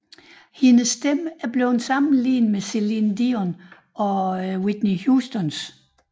Hendes stemme er blevet sammenlignet med Celine Dion og Whitney Houstons